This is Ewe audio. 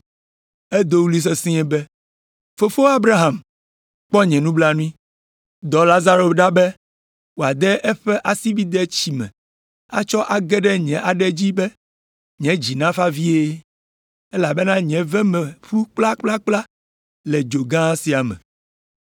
Edo ɣli sesĩe be, ‘Fofo Abraham, kpɔ nye nublanui! Dɔ Lazaro ɖa be wòade eƒe asibidɛ tsi me atsɔ age ɖe nye aɖe dzi be nye dzi nafa vie, elabena nye ve me ƒu kplakplakpla le dzo gã sia me.’